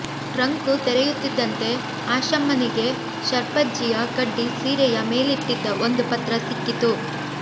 trunk ತೆರೆಯುತ್ತಿದ್ದಂತೆ ಆಶಮ್ಮನಿಗೆ ಶರ್ಪಜ್ಜಿಯ ಕಡ್ಡಿ ಸೀರೆಯ ಮೇಲಿಟ್ಟಿದ್ದ ಒಂದು ಪತ್ರ ಸಿಕ್ಕಿತು